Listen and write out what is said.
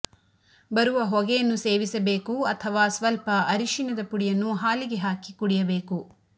ಬರುವ ಹೊಗೆಯನ್ನು ಸೇವಿಸಬೇಕು ಅಥವಾ ಸ್ವಲ್ಪ ಅರಶಿನದ ಪುಡಿಯನ್ನು ಹಾಲಿಗೆ ಹಾಕಿ ಕುಡಿಯಬೇಕು